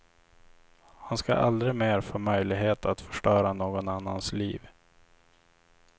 Han ska aldrig mer få möjlighet att förstöra någon annans liv.